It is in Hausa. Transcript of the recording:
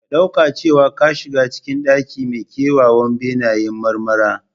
Ka ɗauka cewa ka shiga cikin ɗaki mai kyawawan benayen marmara.